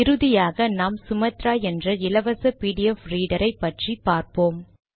இறுதியாக நாம் சுமாத்ரா என்ற இலவச பிடிஎஃப் ரீடர் ஐ பற்றியும் பார்ப்போம்